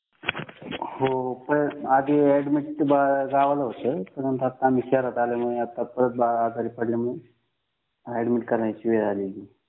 हो पण आधी दाखल गावाला होत पण आता आम्ही शहरात आलेमुळं आता परत आजारी पडला म्हणून दाखल करण्याची वेळ आली